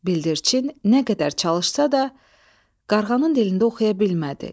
Bildirçin nə qədər çalışsa da, qarğanın dilində oxuya bilmədi.